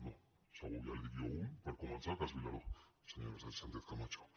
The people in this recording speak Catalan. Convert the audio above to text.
no segur ja li’n dic jo un per començar cas vilaró senyora sánchez camacho